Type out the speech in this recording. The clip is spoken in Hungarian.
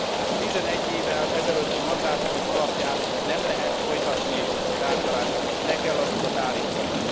A 11 évvel ezelőtti mandátumok alapján nem lehet folytatni a tárgyalásokat, le kell azokat állítani.